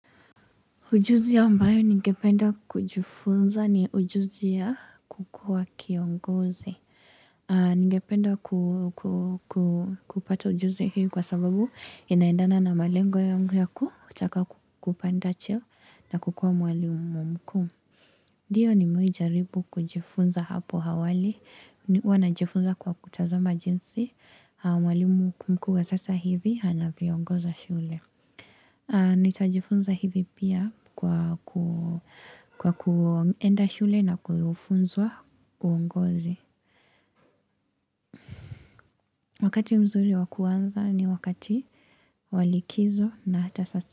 Ujuzi ambayo ningependa kujifunza ni ujuzi ya kukua kiongozi. Ningependa kupata ujuzi hiyo kwa sababu inaendana na malengo ya ku yakutaka kupanda cheo na kukua mwalimu mkuu. Ndio nimewai jaribu kujifunza hapo awali, huwana jifunza kwa kutazama jinsi, mwalimu mku wa sasa hivi, hana viongoza shule. Nitajifunza hivi pia kwa ku kwa kuenda shule na kufunzwa uongozi. Wakati mzuri wakuanza ni wakati walikizo na hata sasa.